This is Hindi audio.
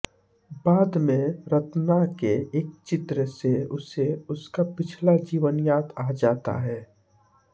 बाद में रत्ना के एक चित्र से उसे उनका पिछला जीवन याद आ जाता है